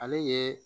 Ale ye